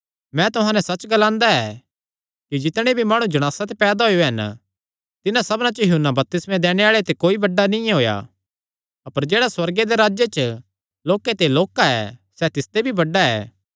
मैं तुहां नैं सच्च ग्लांदा ऐ कि जितणे भी माणु जणासा ते पैदा होएयो हन तिन्हां सबना च यूहन्ना बपतिस्मा दैणे आल़े ते कोई बड्डा नीं होएया अपर जेह्ड़ा सुअर्ग दे राज्जे च लोक्के ते लोक्का ऐ सैह़ तिसते भी बड्डा ऐ